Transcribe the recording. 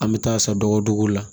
An bɛ taa san dɔgɔdugu la